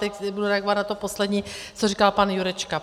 Teď budu reagovat na to poslední, co říkal pan Jurečka.